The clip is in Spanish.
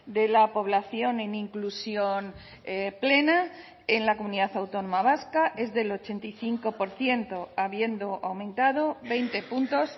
de la población en inclusión plena en la comunidad autónoma vasca es del ochenta y cinco por ciento habiendo aumentado veinte puntos